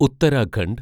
Uttarakhand